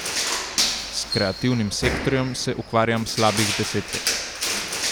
S kreativnim sektorjem se ukvarjam slabih deset let.